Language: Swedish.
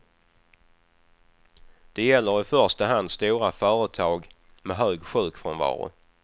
Det gäller i första hand stora företag med hög sjukfrånvaro.